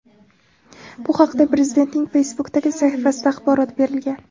Bu haqda Prezidentning Facebook’dagi sahifasida axborot berilgan .